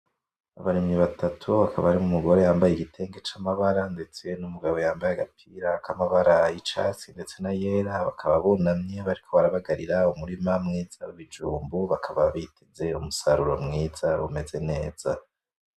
Abarimyi batatu hakaba hari umugore yambaye igitenge c'amabara ndetse n'umugabo yambaye agapira k'amabara yicatsi ndetse nayera bakaba bunamye bariko barabagarira umurima mwiza w'ibijumbu bakaba biteze umusaruro mwiza umeze neza.